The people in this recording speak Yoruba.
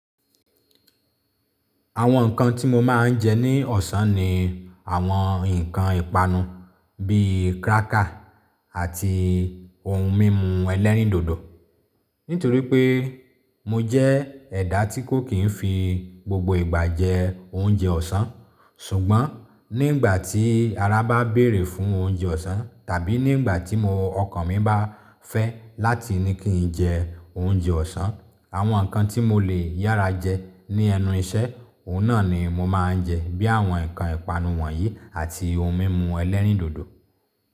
Àwọn nǹkan tí mo máa ń jẹ ní ọ̀sán ni àwọn nǹkan ìpanu bí i cracker àti oun mímu ẹlẹ́rìndòdò. Nítorí pé mo jẹ́ ẹ̀dá tí kò kìn fi gbogbo ìgbà jẹ oúnjẹ ọ̀sán. Ṣùgbọ́n nígbà tí ara bá béèrè fún oúnjẹ ọ̀sán tàbí nígbà tí ọkàn mi bá fẹ́ láti ní kí n jẹ oúnjẹ ọ̀sán, àwọn ǹkan tí mo lè yára jẹ ní ẹnu iṣẹ́, òun náà ni mo má ń jẹ bí àwọn nkan ìpanu wọ̀nyí àti ohun mímu ẹlẹ́rìndòdò.